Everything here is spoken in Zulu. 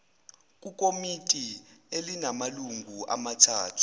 kukomiti elinamalungu amathathu